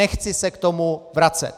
Nechci se k tomu vracet.